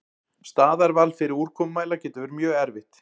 Staðarval fyrir úrkomumæla getur verið erfitt.